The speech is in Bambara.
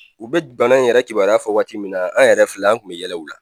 U bɛ bana in yɛrɛ kibaruya fɔ waati min na an yɛrɛ filɛ an kun bɛ yɛlɛ u la.